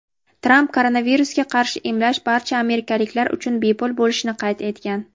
Tramp koronavirusga qarshi emlash barcha amerikaliklar uchun bepul bo‘lishini qayd etgan.